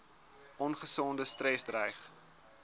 ongesonde stres dreig